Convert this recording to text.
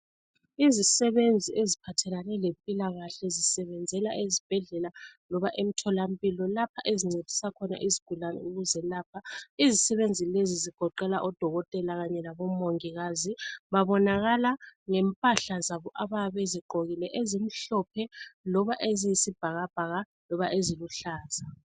Izisebenzi eziphathelane lempilakahle zisebenzela ezibhedlela loba emtholampilo lapha ezincedisa khona izigulane ukuzelapha izisebenzi lezi zigoqela odokotela kanye labomongikazi babonakala ngempahla zabo abayabe bezigqokile ezimhlophe loba eziyisibhakabhaka loba eziluhlaza